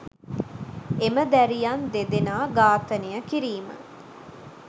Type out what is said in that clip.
එම දැරියන් දෙදෙනා ඝාතනය කිරීම